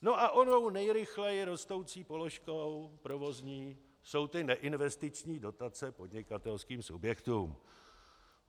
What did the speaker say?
No a onou nejrychleji rostoucí položkou provozní jsou ty neinvestiční dotace podnikatelským subjektům.